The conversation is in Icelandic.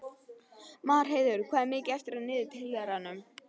Marheiður, hvað er mikið eftir af niðurteljaranum?